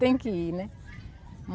Tem que ir, né?